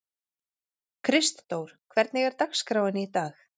Kristdór, hvernig er dagskráin í dag?